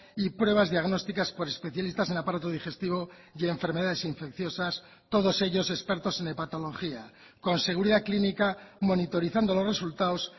y pruebas diagnósticas por especialistas en aparato digestivo y enfermedades infecciosas todos ellos expertos en hepatología con seguridad clínica monitorizando los resultados